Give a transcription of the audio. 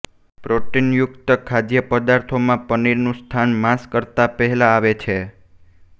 પ્રોટીનયુક્ત ખાદ્ય પદાર્થોમાં પનીરનું સ્થાન માંસ કરતાં પહેલાં આવે છે